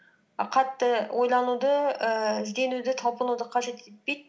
а қатты ойлануды ііі ізденуді талпынуды қажет етпейді